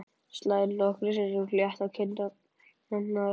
Slær nokkrum sinnum létt á kinnarnar.